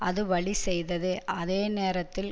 அது வழி செய்தது அதே நேரத்தில்